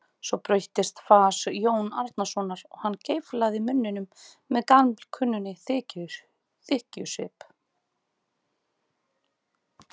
Svo breyttist fas Jóns Arasonar og hann geiflaði munninn með gamalkunnum þykkjusvip.